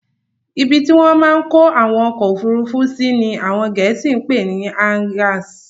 Ibi tí wọ́n máa n kó àwọn ọkọ̀ ofurufu sí ní àwọn gẹ̀ẹ́sì pè ni "Hangars"